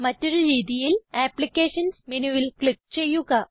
മറ്റൊരു രീതിയിൽ അപ്ലിക്കേഷൻസ് മെനുവിൽ ക്ലിക്ക് ചെയ്യുക